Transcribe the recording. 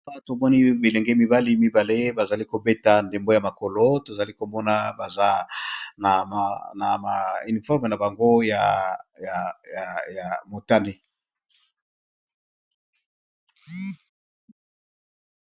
Awa tomoni bilenge mibali mibale bazo beta ndembo ya makolo tozali komona balati uniforme na bango ya motane.